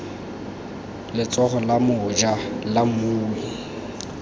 letsogo la moja la mmui